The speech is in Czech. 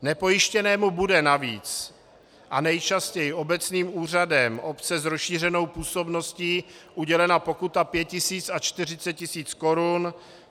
Nepojištěnému bude navíc a nejčastěji obecním úřadem obce s rozšířenou působností udělena pokuta 5 000 a 40 000 korun.